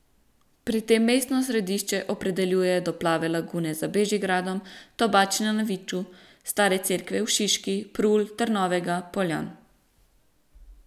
Pri tem mestno središče opredeljuje do Plave lagune za Bežigradom, Tobačne na Viču, Stare cerkve v Šiški, Prul, Trnovega, Poljan ...